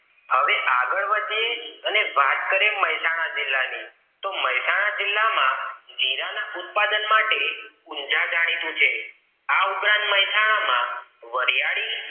હવે આગળ વધીએ અને વાત કરીએ મેહસાણા જિલ્લા ની તો મેહસાણા જિલ્લા માં જીરા ના ઉત્પાદન માટે ઊંજા જાણીતું છે આ ઉપરાંત મહેસાણા માં વરિયાળી